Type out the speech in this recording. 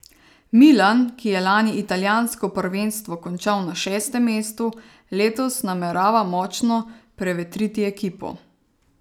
Milan, ki je lani italijansko prvenstvo končal na šestem mestu, letos namerava močno prevetriti ekipo.